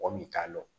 Mɔgɔ min t'a dɔn